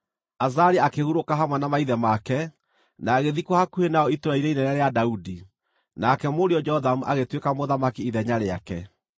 Azaria akĩhurũka hamwe na maithe make, na agĩthikwo hakuhĩ nao itũũra-inĩ inene rĩa Daudi. Nake mũriũ Jothamu agĩtuĩka mũthamaki ithenya rĩake.